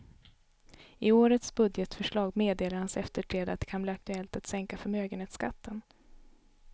I årets budgetförslag meddelar hans efterträdare att det kan bli aktuellt att sänka förmögenhetsskatten.